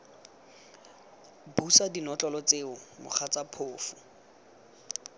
busa dinotlolo tseo mogatsa phofu